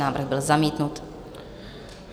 Návrh byl zamítnut.